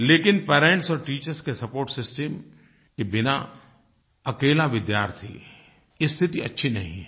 लेकिन पेरेंट्स और टीचर्स के सपोर्ट सिस्टम के बिना अकेला विद्यार्थी स्थिति अच्छी नहीं है